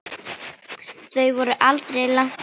Þau voru aldrei langt undan.